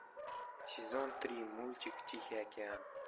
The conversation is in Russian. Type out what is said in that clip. сезон три мультик тихий океан